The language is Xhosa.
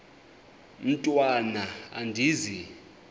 mntwan am andizi